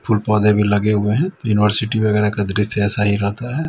फूल पौधे भी लगे हुए हैं यूनिवर्सिटी वगैरह का दृश्य ऐसा ही रहता है।